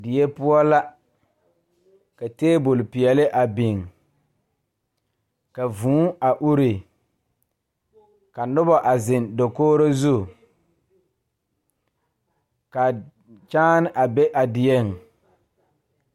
Die poɔ la ka tabole peɛle a biŋ ka vūū a ure ka nobɔ a zeŋ dakogro zu ka kyaane a be a dieŋ.